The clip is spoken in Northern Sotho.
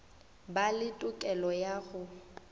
ba le tokelo ya go